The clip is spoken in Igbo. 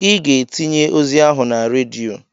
I ga-etinye ozi ahụ na redio.